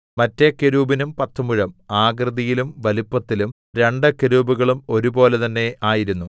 മറ്റെ കെരൂബിനും പത്ത് മുഴം ആകൃതിയിലും വലിപ്പത്തിലും രണ്ട് കെരൂബുകളും ഒരുപോലെ തന്നേ ആയിരുന്നു